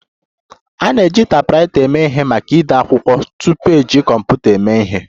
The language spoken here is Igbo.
A na-eji taipwraita eme ihe maka ide akwụkwọ tupu eji kọmputa eme ihe